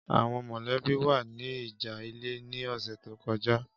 Àwọn mọ̀lẹ́bí wa ní ìjà ilẹ̀ ní ọ̀sẹ̀ tó kọjá.